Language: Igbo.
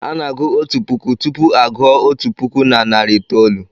Ana-agụ otu puku tupu a gụọ otu puku na narị itoolu.